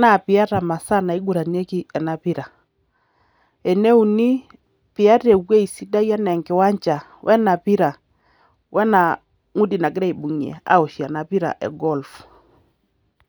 naa piata imasaa naiguranieki enapira. Eneuni, piata ewoji sidai enaa enkiwanja, wena pira, wena ngudi nakirae aitumia aoshie enapira e golf.